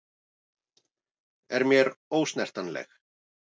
Er mér ósnertanleg.